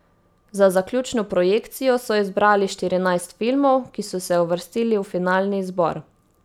Za zaključno projekcijo so izbrali štirinajst filmov, ki so se uvrstili v finalni izbor.